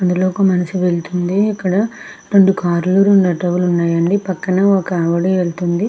అందులో ఒక ఏంటంటే ఇక్కడ రెండు కార్ లు రెండు ఆటో లు ఉన్నాయండి పక్కనే ఒక ఆవిడ ఎల్తుంది.